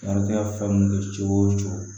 Makɛ fɛn mun bɛ cogo o cogo